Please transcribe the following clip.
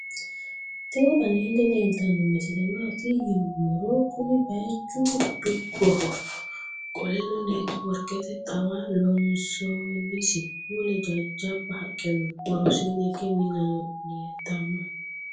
tini aleni leltano misile mati yinumoro kuni bayichu duboho qoleno neti workete xawa loonsoniisi mule jajaba haqeno noo. worosini hiige minano leltano.